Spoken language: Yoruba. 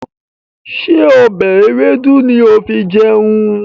Ṣé ọbẹ̀ ewédú ni ó fi jẹun?